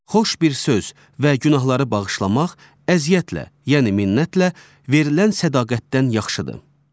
Xoş bir söz və günahları bağışlamaq əziyyətlə, yəni minnətlə verilən sədaqətdən yaxşıdır.